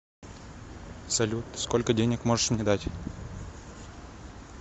салют сколько денег можешь мне дать